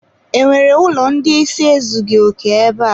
E nwere ụlọ ndị ịsị ezughi oke ebe a?